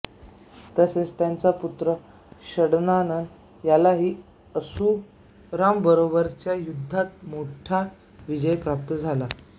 तसेच त्यांचा पुत्र षडानन यालाही असुरांबरोबरच्या युद्धात मोठा विजय प्राप्त झाला